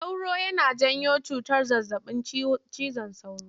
Sauro yana janyo cutar zazzaɓin cizon sauro.